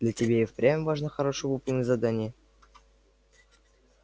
для тебя и впрямь важно хорошо выполнить задание